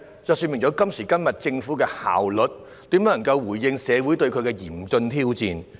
這說明，今時今日政府的效率怎能回應社會面對的嚴峻挑戰？